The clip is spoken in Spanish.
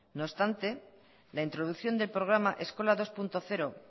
no obstante la introducción del programa eskola dos punto cero